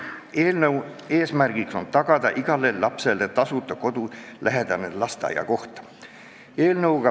Eelnõu eesmärk on tagada igale lapsele tasuta koht kodulähedases lasteaias.